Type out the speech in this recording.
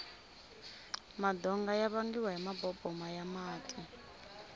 madonga ya vangiwa hi maboboma ya mati